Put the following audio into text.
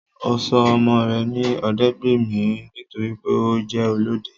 Ọ́ sọ ọmọ re ní Ọdẹ́gbàmí nítorí pé o je olọdẹ